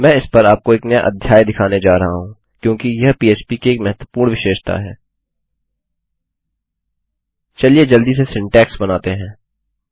मैं इस पर आपको एक नया अध्याय दिखाने जा रहा हूँ क्योंकि यह पीएचपी की एक महत्वपूर्ण विशेषता है